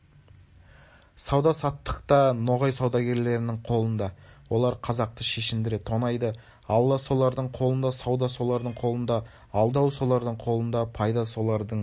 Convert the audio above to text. сауда-саттық та ноғай саудагерлерінің қолында олар қазақты шешіндіре тонайды алла солардың қолында сауда солардың қолында алдау солардың қолында пайда солардың